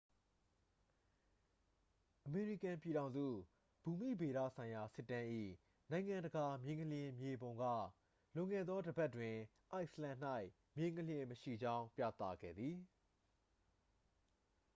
အမေရိကန်ပြည်ထောင်စု ဘူမိဗေဒဆိုင်ရာ စစ်တမ်း၏ နိုင်ငံတကာ မြေငလျင် မြေပုံက လွန်ခဲ့သော တစ်ပတ်တွင် အိုက်စ်လန်၌ မြေငလျင်မရှိကြောင်း ပြသခဲ့သည်